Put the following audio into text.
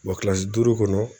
duuru kɔnɔ